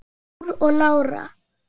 Þór og Lára.